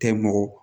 Tɛ mɔgɔ